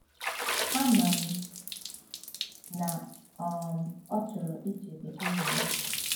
Ama m na um ọ chọrọ ichebe aha m. ”